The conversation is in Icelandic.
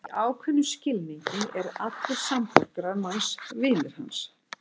Í ákveðnum skilningi eru allir samborgarar manns vinir hans.